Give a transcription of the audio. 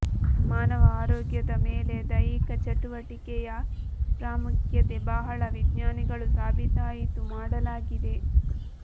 ಮಾನವ ಆರೋಗ್ಯದ ಮೇಲೆ ದೈಹಿಕ ಚಟುವಟಿಕೆಯ ಪ್ರಾಮುಖ್ಯತೆ ಬಹಳ ವಿಜ್ಞಾನಿಗಳು ಸಾಬೀತಾಯಿತು ಮಾಡಲಾಗಿದೆ